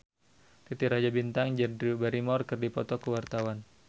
Titi Rajo Bintang jeung Drew Barrymore keur dipoto ku wartawan